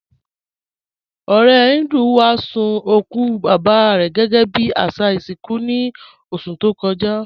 Ọ̀rẹ̀ Híndú wá sun okù baba rẹ gẹgẹ́ bí àṣà ìṣinkú ní oṣù tó kọ́jà.